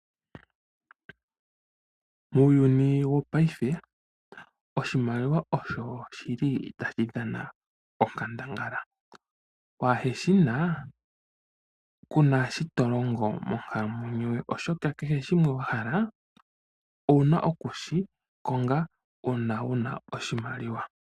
Muuyuni wo paife oshimaliwa osho shi li tashi dhana onkandangala, waa he shina kuna shi to longo monkalamwenyo yoye oshoka kehe shimwe wa hala ouna okushi konga uuna wuna oshimaliwa.